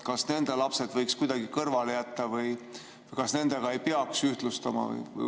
Kas nende lapsed võiks kuidagi kõrvale jätta või kas siin ei peaks ühtlustama?